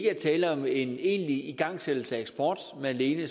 er tale om en egentlig igangsættelse af eksport men alene